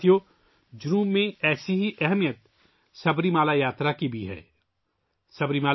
ساتھیو، سبریمالا یاترا کی جنوب میں بھی اتنی ہی اہمیت ہے